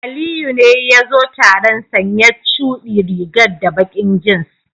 Aliyu ne yazo taron sanye chudi rigar da baki jeans.